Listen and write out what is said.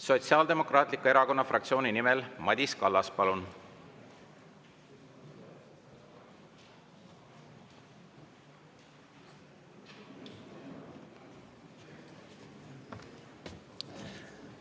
Sotsiaaldemokraatliku Erakonna fraktsiooni nimel Madis Kallas, palun!